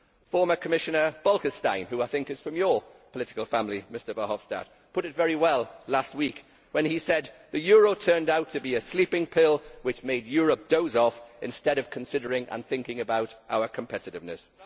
Former Commissioner Bolkestein, who I think is from your political family, Mr Verhofstadt, put it very well last week when he said that the euro turned out to be a sleeping pill which made Europe doze off instead of considering and thinking about its competitiveness.